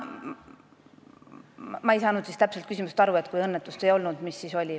Ahah, ma ei saanud täpselt küsimusest aru, et kui õnnetust ei olnud, mis siis oli.